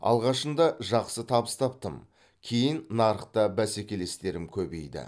алғашында жақсы табыс таптым кейін нарықта бәсекелестерім көбейді